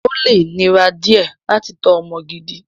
Ó lè nira díẹ̀ láti tọ́ ọmọ gidi.